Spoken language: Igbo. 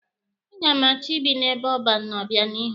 A ga m achọ ibi n'ebe ọban n'obịanihu.